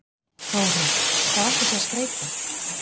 Þóra: Hvar ætlið þið að skreyta?